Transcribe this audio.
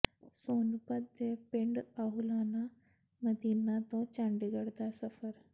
ਸੋਨੁਪਤ ਦੇ ਪਿੰਡ ਆਹੁਲਾਨਾ ਮਦੀਨਾ ਤੋਂ ਚੰਡੀਗੜ੍ਹ ਦਾ ਸਫਰ